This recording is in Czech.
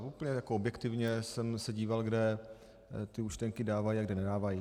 A úplně objektivně jsem se díval, kde ty účtenky dávají a kde nedávají.